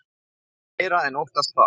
Ég meira en óttast það.